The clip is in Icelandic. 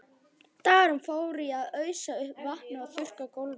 Dagurinn fór í að ausa upp vatni og þurrka gólfin.